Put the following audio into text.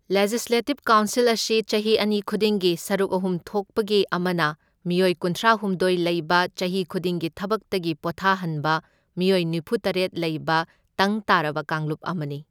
Legislative council ꯑꯁꯤ ꯆꯍꯤ ꯑꯅꯤ ꯈꯨꯗꯤꯡꯒꯤ ꯁꯔꯨꯛ ꯑꯍꯨꯝ ꯊꯣꯛꯄꯒꯤ ꯑꯃꯅ ꯃꯤꯑꯣꯢ ꯀꯨꯟꯊ꯭ꯔꯥꯍꯨꯝꯗꯣꯢ ꯂꯩꯕ ꯆꯍꯤ ꯈꯨꯗꯤꯡꯒꯤ ꯊꯕꯛꯇꯒꯤ ꯄꯣꯊꯥꯍꯟꯕ ꯃꯤꯑꯣꯢ ꯅꯤꯐꯨꯇꯔꯦꯠ ꯂꯩꯕ ꯇꯪ ꯇꯥꯔꯕ ꯀꯥꯡꯂꯨꯞ ꯑꯃꯅꯤ꯫